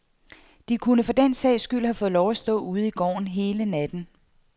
De kunne for den sags skyld have fået lov til at stå ude i gården hele natten.